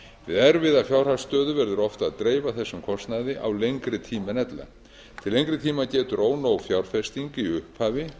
við erfiða fjárhagsstöðu verður oft að dreifa þessum kostnaði á lengri tíma en ella til lengri tíma getur ónóg fjárfesting í upphafi